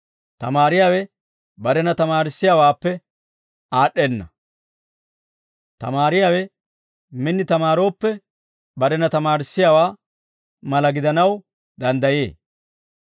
Tamaariyaawe barena tamaarissiyaawaappe aad'd'enna; tamaariyaawe min tamaarooppe barena tamaarissowaa mala gidanaw danddayee.